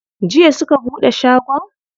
Jiya suka buɗe shagon?